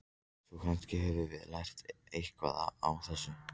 Svo kannski höfum við bara lært eitthvað á þessu.